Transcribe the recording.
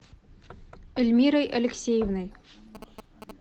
эльмирой алексеевной